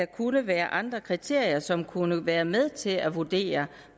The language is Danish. kunne være andre kriterier som kunne være med til at vurdere